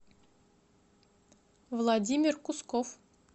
владимир кусков